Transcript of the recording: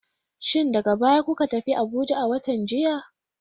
Shin daga baya kuka tafi Abuja a watan jiya?